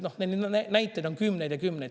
Neid näiteid on kümneid ja kümneid.